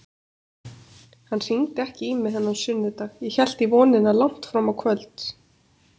Hann hringdi ekki í mig þennan sunnudag, ég hélt í vonina langt fram á kvöld.